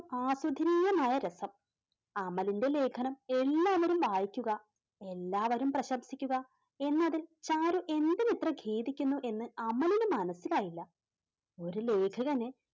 ആസ്വദനീയമായ രസം അമലിന്റെ ലേഖനം എല്ലാവരും വായിക്കുക എല്ലാവരും പ്രശംസിക്കുക എന്നതിൽ ചാരു എന്തിന് ഇത്ര ഖേദിക്കുന്നു എന്ന് അമലിനു മനസ്സിലായില്ല ഒരു ലേഖകന്